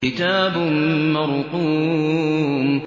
كِتَابٌ مَّرْقُومٌ